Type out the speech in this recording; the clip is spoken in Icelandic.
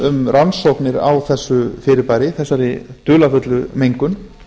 um rannsóknir á þessu fyrirbæri á þessari dularfullu mengun